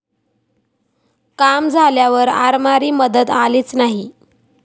काम झाल्यावर आरमारी मदत आलीच नाही.